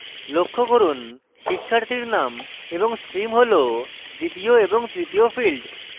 লক্ষ্য করুন শিক্ষার্থীর names এবং stream হল দ্বিতীয় এবং তৃতীয় fields